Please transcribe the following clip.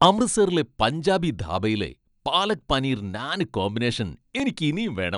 അമൃത്സറിലെ പഞ്ചാബി ധാബയിലെ പാലക് പനീർ നാന് കോമ്പിനേഷൻ എനിക്കിനിയും വേണം.